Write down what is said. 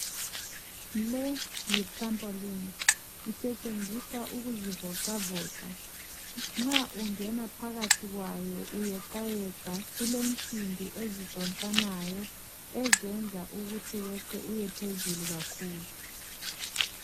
Le yi"Trampoline",isetshenziswa ukuzivocavoca. Nxa ungena phakathi kwayo uyeqayeqa kulensimbi ezidonsanayo ezenza ukuthi weqe uyephezulu kakhulu.